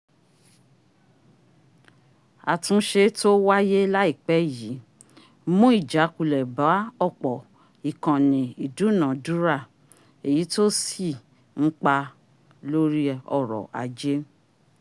àtúnṣe tó wáyé láìpẹ́ yìí mún ìjákulẹ̀ bá ọ̀pọ̀ ìkànnì ìdúnàádúrà ẹ̀yí tó sì nípa lóri ọrọ̀ ajé